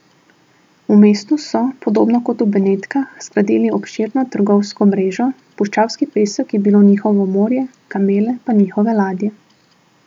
V mestu so, podobno kot v Benetkah, zgradili obširno trgovsko mrežo, puščavski pesek je bilo njihovo morje, kamele pa njihove ladje.